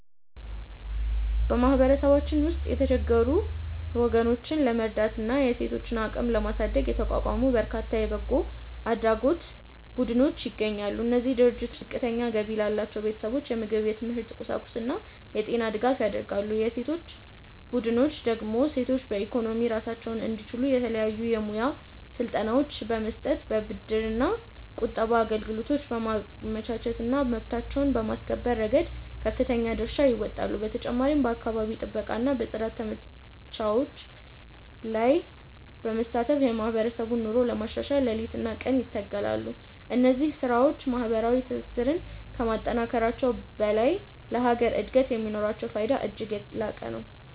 በማህበረሰባችን ውስጥ የተቸገሩ ወገኖችን ለመርዳትና የሴቶችን አቅም ለማሳደግ የተቋቋሙ በርካታ የበጎ አድራጎት ቡድኖች ይገኛሉ። እነዚህ ድርጅቶች ዝቅተኛ ገቢ ላላቸው ቤተሰቦች የምግብ፣ የትምህርት ቁሳቁስና የጤና ድጋፍ ያደርጋሉ። የሴቶች ቡድኖች ደግሞ ሴቶች በኢኮኖሚ ራሳቸውን እንዲችሉ የተለያዩ የሙያ ስልጠናዎችን በመስጠት፣ የብድርና ቁጠባ አገልግሎቶችን በማመቻቸትና መብታቸውን በማስከበር ረገድ ከፍተኛ ድርሻ ይወጣሉ። በተጨማሪም በአካባቢ ጥበቃና በጽዳት ዘመቻዎች ላይ በመሳተፍ የማህበረሰቡን ኑሮ ለማሻሻል ሌሊትና ቀን ይተጋሉ። እነዚህ ስራዎች ማህበራዊ ትስስርን ከማጠናከራቸውም በላይ ለሀገር እድገት የሚኖራቸው ፋይዳ እጅግ የላቀ ነው።